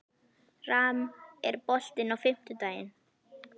Ram, er bolti á fimmtudaginn?